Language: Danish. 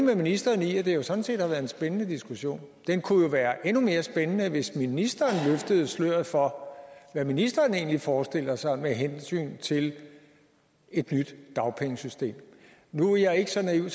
med ministeren i at det jo sådan set har været en spændende diskussion den kunne jo være endnu mere spændende hvis ministeren løftede sløret for hvad ministeren egentlig forestiller sig med hensyn til et nyt dagpengesystem nu er jeg ikke så naiv